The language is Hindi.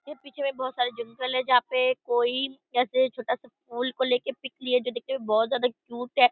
ये पीछे में बहुत सारे जंगल हैं जहां पे कोई जैसे छोटा सा फूल को लेके पिक लिए जो दिखने में बहुत ज्यादा क्यूट है।